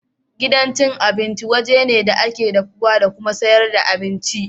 Gidan abinci waje ne da ake dafuwa da kuma sayar da abinci.